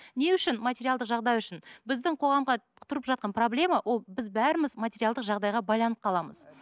не үшін материалдық жағдай үшін біздің қоғамға тұрып жатқан проблема ол біз бәріміз материалдық жағдайға байланып қаламыз